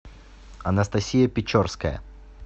анастасия печорская